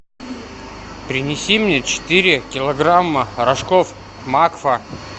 принеси мне четыре килограмма рожков макфа